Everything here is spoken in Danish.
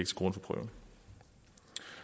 til grund for prøven